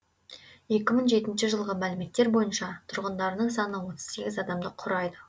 екі мың жетінші жылғы мәліметтер бойынша тұрғындарының саны отыз сегіз адамды құрайды